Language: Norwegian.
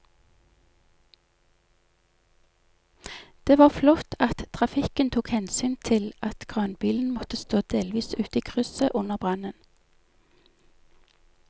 Det var flott at trafikken tok hensyn til at kranbilen måtte stå delvis ute i krysset under brannen.